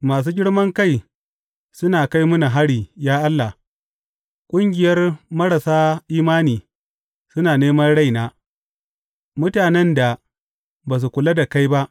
Masu girman kai suna kai mini hari, ya Allah; ƙungiyar marasa imani suna neman raina, mutanen da ba su kula da kai ba.